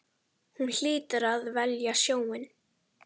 Hún hlýtur að velja sjóinn.